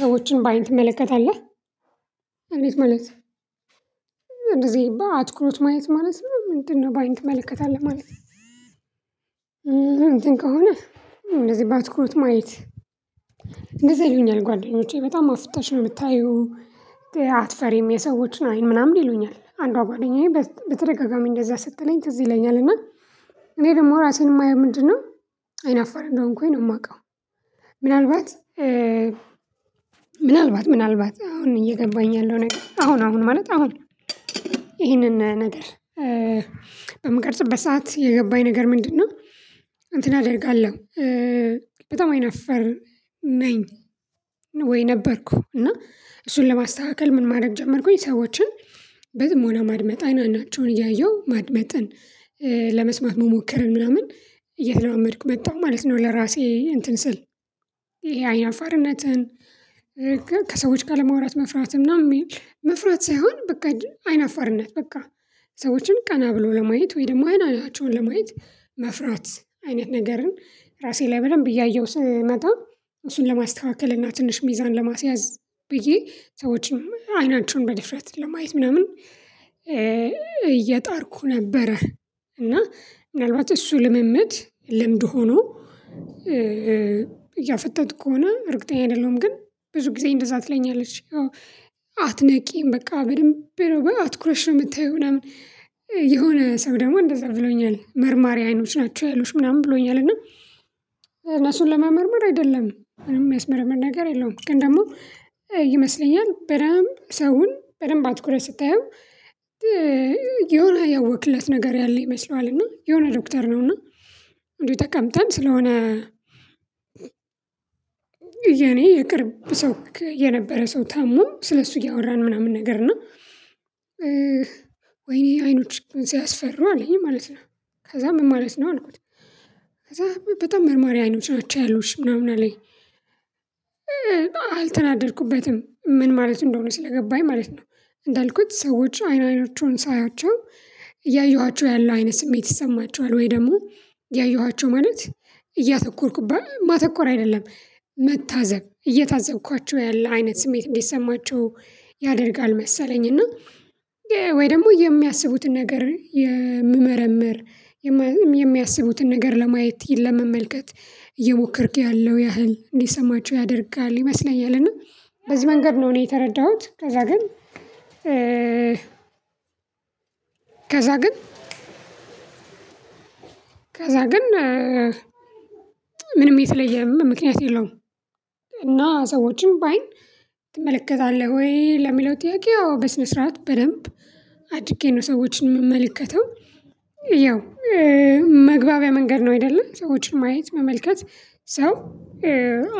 ሰዎችን በአይን ትመለከታለህ? እንዴት ማለት? እንደዚህ አትኩሮት ማየት ማለት ነው ምንድነው በአይን ትመለከታለህ ማለት? እንትን ከሆነ እንደዚህ ባትኩሮት ማየት። እንደዚያ ይልኛል ጓደኞቼ በጣም አፍጠሽ ነው እምታይው አትፈሪም የሰዎችን አይን ምናምን ይሉኛል። አንዷ ጓደኛዬ በተደጋጋሚ እንደዛ ስትለኝ ትዝ ይለኛል እና እኔ ደሞ ራሴን እማየው ምንድነው አይናፋር እንደሆንኩኝ ነው እማውቀው። ምናልባት ምናልባት ምናልባት አሁን እየገባኝ ያለው ነገር አሁን አሁን ማለት አሁን ይሄንን ነገር በምቀርጽበት ሰዓት የገባኝ ነገር ምንድነው? እንትን አደርጋለሁ በጣም አይነፈር ነኝ። ወይ ነበርኩ እና እሱን ለማስተካከል ምን ማድረግ ጀመርኩኝ ሰዎችን በጥሞና ማድመጥ አይን አይናቸውን እያየሁ ማድመጥን ለመስማት መሞከርን ምናምን እየተለማመድኩ መጣሁ ማለት ነው። ለራሴ እንትን ስል ይሄ አይነ አፋርነትን። አለማውራት መፍራት። መፍራት ሳይሆን በቃ አይናፋርነት በቃ ሰዎችን ቀና ብሎ በማየት ወይ ደግሞ አይን አይናቸውን ለማየት መፍራት አይነት ነገርን ራሴ ላይ በደንብ እያየሁት ስመጣ እሱን ለማስተካከል እና ትንሽ ሚዛን ለማስያዝ ብዬ ሰዎችን አይናቸውን በድፍረት ለማየት ምናምን እየጣርኩ ነበረ። እና ምናልባት እሱ ልምምድ ልምድ ሆኖ እያፈጠጥኩ ከሆነ እርግጠኛ አይደለሁም። ግን ብዙ ጊዜ እንደዛ ትለኛለች። አዎ አትነቂም በቃ በድንብ ነው አትኩረሽ ነው እምታይው ምናምን የሆነ ሰው ደግሞ እንደዛ ብሎኛል መርማሪ አይኖች ናቸው ያሉሽ ምናምን ብሎኛል። እና እነሱን ለመርመር አይደለም ምንም እሚያስመርም ነገር የለውም። ግን ደግሞ ይመስለኛል በደንብ ሰውን በደንብ አትኩረት ስታየው። የሆነ ያወክለት ነገር ያለ ይመስለዋል እና የሆነ ዶክተር ነው። እና እንዴት ተቀምጠን ስለሆነ። የኔ የቅርብ ሰው የነበረ ሰው ታሞ ስለሱ እያወራን ምናምን ነገር እና ወይኔ አይኖችሽ ግን ሲያስፈሩ አለኝ ማለት ነው። ከዛ ምን ማለት ነው አልኩት። ከዛ በጣም መርማሪ አይኖች ናቸው ያሉሽ ምናምን አለኝ። አልተናደድኩበትም ምን ማለት እንደሆነ ስለገባኝ ማለት ነው። እንዳልኩት ሰዎች አይን አይኖቹን ሳያቸው። እያየኋቸው ያለው አይነት ስሜት ይሰማቸዋል ወይ ደግሞ ያየኋቸው ማለት እያተኮርኩባ ማተኮር አይደለም መታዘብ እየታዘብኳቸው ያለ አይነት ስሜት እንዲሰማቸው ያደርጋል መሰለኝ። እና ወይ ደግሞ የሚያስቡትን ነገር የምመረምር የሚያስቡትን ነገር ለማየት ለመመልከት እየሞከርክ ያለው ያህል እንዲሰማቸው ያደርጋል ይመስለኛል። እና በዚህ መንገድ ነው እኔ የተረዳሁት። ከዛ ግን ከዛ ግን እእእ ምንም የተለየም ምክንያት የለውም። እና ሰዎችን በአይን ትመለከታለህ? ወይ ለሚለው ጥያቄ አዎ በስነ ስርዓት በደንብ አድርጌ ነው ሰዎችን እመመልከተው። ያው መግባቢያ መንገድ ነው። አይደለ ሰዎችን ማየት መመልከት ሰው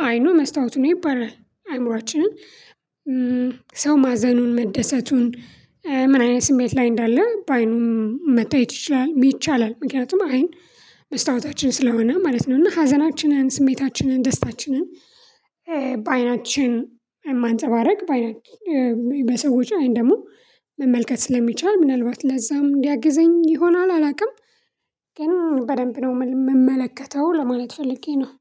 አይኑ መስታወቱ ነው ይባላል። አይምሮአችንን ሰው ማዘኑን መደሰቱን ምን አይነት ስሜት ላይ እንዳለ በአይኑም መታየት ይችላል ይቻላል። ምክንያቱም አይን መስታወታችን ስለሆነ ማለት ነው። እና ሀዘናችንን ስሜታችንን ደስታችንን በአይናችን ማንፀባረቅ በአይናችን በሰዎች አይን ደሞ መመልከት ስለሚቻል ምናልባት ለዛም እንዲያግዘን ይሆናል አላውቅም። ግን በደንብ ነው እምመለከተው ለማለት ፈልጌ ነው።